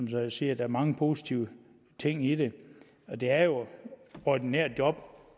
jo sige at der er mange positive ting i det og det er jo ordinære job